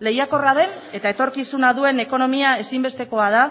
lehiakorra den eta etorkizuna duen ekonomia ezinbestekoa da